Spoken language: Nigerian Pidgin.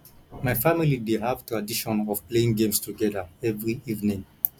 my family dey have tradition of playing games together every evening